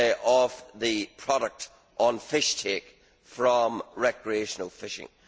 on the product of fish take from recreational fishing.